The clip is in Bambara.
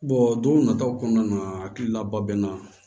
don nataw kɔnɔna na hakili laba bɛ n na